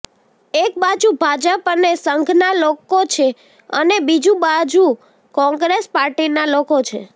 એક બાજુ ભાજપ અને સંઘના લોકો છે અને બીજુ બાજુ કોંગ્રેસ પાર્ટીના લોકો છે